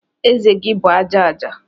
Ezé gị bụ aja aja